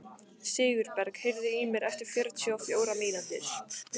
Sigurberg, heyrðu í mér eftir fjörutíu og fjórar mínútur.